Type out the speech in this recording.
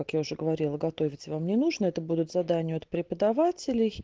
как я уже говорила готовить вам не нужно это будут задания от преподавателей